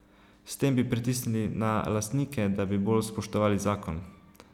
S tem bi pritisnili na lastnike, da bi bolj spoštovali zakon.